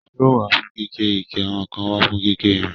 Sọ́ọ̀ wà fún gígé igi àwọn kan wà fún gígé ìrìn.